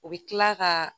U bɛ tila ka